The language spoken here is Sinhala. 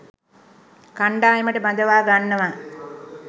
කණ්ඩායමට බඳවා ගන්නවා.